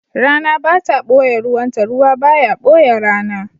Rana ba ta ɓoye ruwanta, ruwa ba ya ɓoye rana.